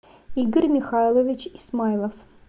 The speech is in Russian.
игорь михайлович исмайлов